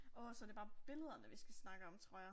Åh så det bare billederne, vi skal snakke om, tror jeg.